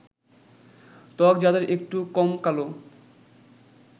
ত্বক যাদের একটু কম কালো